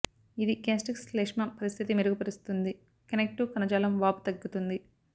ఇది గ్యాస్ట్రిక్ శ్లేష్మం పరిస్థితి మెరుగుపరుస్తుంది కనెక్టివ్ కణజాలం వాపు తగ్గుతుంది